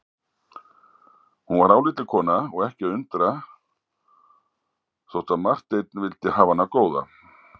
Hún var álitleg kona og ekki að undra þótt að Marteinn vildi hafa hana góða.